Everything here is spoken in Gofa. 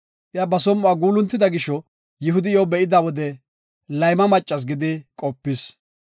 Iya ba som7uwa guuluntida gisho, Yihudi iyo be7ida wode, layma maccas gidi qopis.